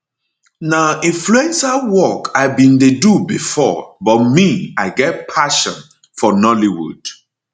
na influencer work i bin dey do bifor but me i get passion for nollywood